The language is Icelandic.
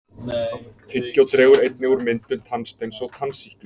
tyggjó dregur einnig úr myndun tannsteins og tannsýklu